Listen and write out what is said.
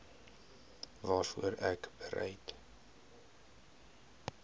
waarvoor ek bereid